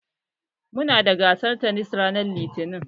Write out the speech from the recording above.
Muna da gasar tanis ranar Litinin